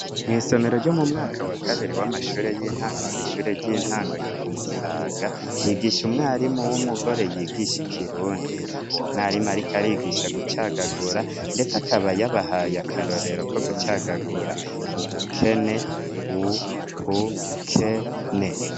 Mw'isomero ryo mu mwaka wa kabiri w'amashure y'intango kw'ishure ry'intango ryo ku Musaga, higisha umwarimu w'umugore yigisha ikirundi. Uwo mwarimu ariko arigisha gucagagura, ndetse akaba yabahaye akarorero ko gucagagura "ubukene" : u-bu-ke-ne.